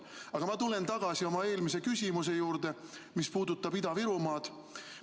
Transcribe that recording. Aga ma tulen tagasi oma eelmise küsimuse juurde, mis puudutas Ida-Virumaad.